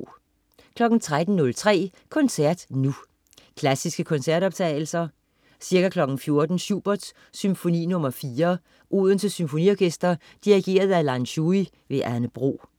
13.03 Koncert Nu. Klassiske koncertoptagelser. Ca. 14.00 Schubert: Symfoni nr. 4. Odense Symfoniorkester. Dirigent: Lan Shui. Anne Bro